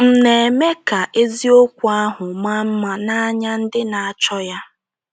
M̀ na - eme ka eziokwu ahụ maa mma n’anya ndị na - achọ ya? ’